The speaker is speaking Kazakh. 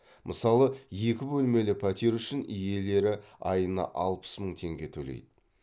мысалы екі бөлмелі пәтер үшін иелері айына алпыс мың теңге төлейді